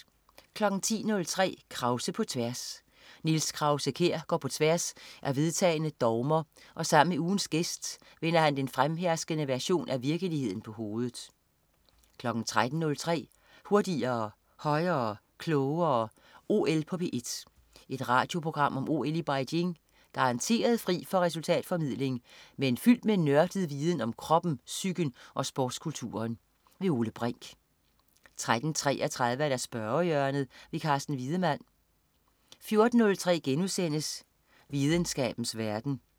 10.03 Krause på tværs. Niels Krause-Kjær går på tværs af vedtagne dogmer, og sammen med ugens gæst vender han den fremherskende version af virkeligheden på hovedet 13.03 Hurtigere, højere, klogere. OL på P1. Et radioprogram om OL i Beijing. Garanteret fri for resultatformidling, men fyldt med nørdet viden om kroppen, psyken og sportskulturen. Ole Brink 13.33 Spørgehjørnet. Carsten Wiedemann 14.03 Videnskabens verden*